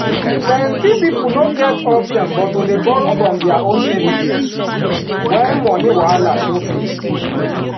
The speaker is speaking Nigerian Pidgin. plenty people no get option but to dey borrow from their own savings when money wahala show face.